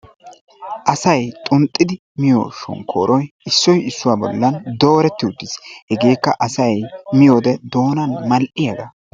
aasay xuunxidi miyoo shonkkooroy issoy issuwaa bollan doretti uttiis. hegeekka asay miyoo wode doonaan mal"iyaagaa.